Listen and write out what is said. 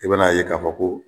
I bɛn'a ye k'a fɔ ko